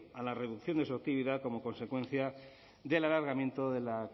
a la reducción de su actividad como consecuencia del alargamiento de la